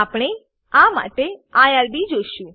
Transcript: આપણે આ માટે આઇઆરબી જોશું